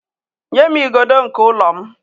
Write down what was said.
nye m igodo nke ụlọ m